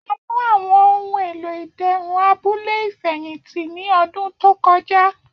A fun awọn ohun elo iderun abule ifẹhinti ni ọdun to kọja.